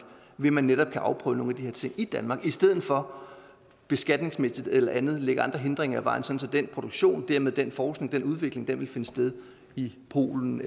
ved at man netop kan afprøve nogle af de her ting i danmark i stedet for beskatningsmæssigt eller andet at lægge andre hindringer i vejen så den produktion og dermed den forskning og den udvikling vil finde sted i polen